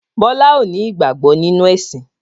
Bọlá ó ní ìgbàgbọ́ nínú ẹ̀sìn